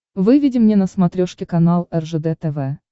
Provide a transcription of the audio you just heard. выведи мне на смотрешке канал ржд тв